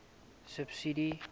subsidies